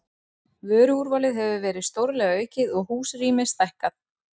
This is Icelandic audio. Vöruúrvalið hefur verið stórlega aukið og húsrými stækkað.